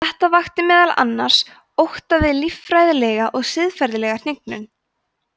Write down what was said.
þetta vakti meðal annars ótta við líffræðilega og siðferðilega hnignun